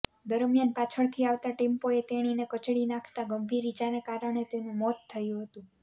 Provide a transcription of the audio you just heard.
દરમિયાન પાછળથી આવતા ટેમ્પોએ તેણીને કચડી નાંખતાં ગંભીર ઈજાને કારણે તેનું મોત થયું હતું